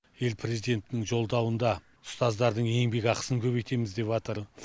ел президентінің жолдауында ұстаздардың еңбек ақысын көбейтеміз деватыр